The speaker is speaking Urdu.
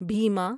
بھیما